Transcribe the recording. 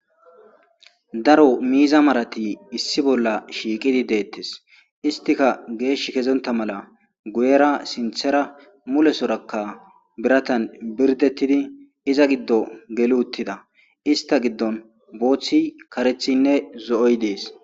daro miiza marati issi bolla shiiqidi deettes istika geesh kezonta mala guyera sinthera mulesorakka biratan birdettidi iza giddo geli uttida ista giddon booththi karethinne zo7oy dees